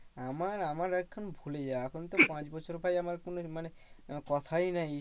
আমার আমার এখন ভুলে যা এখন তো পাঁচ বছর ভাই আমার কোনো মানে কোথায় নেই।